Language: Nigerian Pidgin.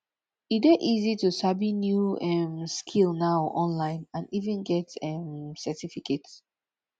e de easy to sabi new um skill now online and even get um certificate